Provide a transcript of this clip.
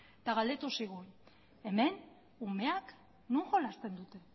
eta galdetu zigun hemen umeak non jolasten dute